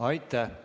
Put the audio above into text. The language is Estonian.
Aitäh!